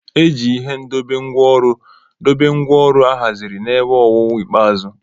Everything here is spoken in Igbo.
E ji ihe ndobe ngwá ọrụ dobe ngwá ọrụ ahaziri n'ebe owuwu ikpeazụ.